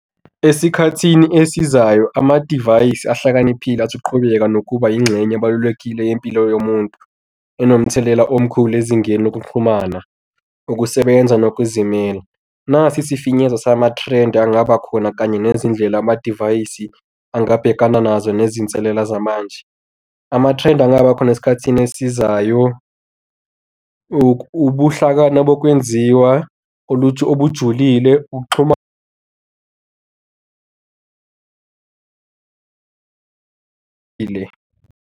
Esikhathini esizayo, amadivayisi ahlakaniphile athi ukqhubeka nokuba yingxenye abalulekile yempilo yomuntu enomthelela omkhulu ezingeni lokuxhumana, ukusebenza nokuzimela. Nasi isifinyezo zama-trend angaba khona kanye nezindlela amadivayisi angabhekana nazo nezinselela zamanje. Ama-trend angaba khona esikhathini esizayo ubuhlakani bokwenziwa oluthi obujulile. Ukuxhuma .